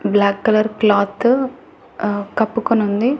Black colour cloth కప్పుకొనుంది.